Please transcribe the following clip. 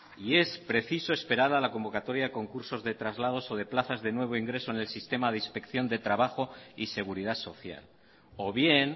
y es preciso esperar a la convocatoria de concursos de traslados o de plazas de nuevo ingreso en el sistema de inspección de trabajo y seguridad social o bien